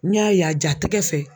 N y'a ye a jatɛkɛ fɛ